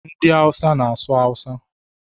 Ndị Hausa na-asụ Awusa